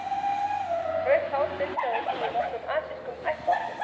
Rautt hár finnst að auki í nokkrum asískum ættbálkum.